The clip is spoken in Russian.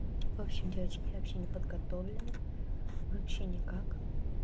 вообщем девочки вообще не подготовлены вообще никак